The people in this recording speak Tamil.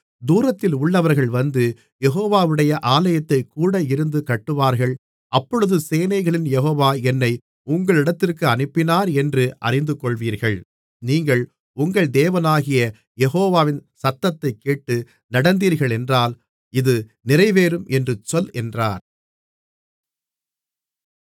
தூரத்திலுள்ளவர்கள் வந்து யெகோவாவுடைய ஆலயத்தைக் கூட இருந்து கட்டுவார்கள் அப்பொழுது சேனைகளின் யெகோவா என்னை உங்களிடத்திற்கு அனுப்பினாரென்று அறிந்துகொள்வீர்கள் நீங்கள் உங்கள் தேவனாகிய யெகோவாவின் சத்தத்தைக் கேட்டு நடந்தீர்களென்றால் இது நிறைவேறும் என்று சொல் என்றார்